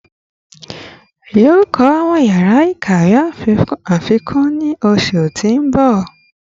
Yoo kọ awọn yara ikawe afikun ni oṣu ti n bọ